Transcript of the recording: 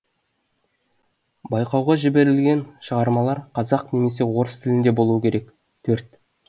байқауға жіберілген шығармалар қазақ немесе орыс тілінде болуы керек төрт